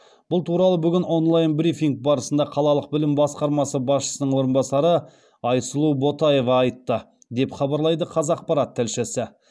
бұл туралы бүгін онлайн брифинг барысында қалалық білім басқармасы басшысының орынбасары айсұлу ботаева айтты деп хабарлайды қазақпарат тілшісі